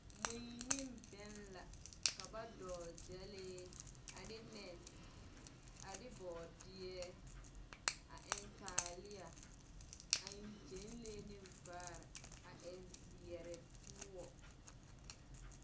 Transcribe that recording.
Mui neŋ bԑŋ, ka ba dogele gyԑlee ane nԑne, a de bͻͻdeԑ a eŋ taaleԑ a eŋ gyԑnlee neŋ vaare a eŋ zeԑre poͻ.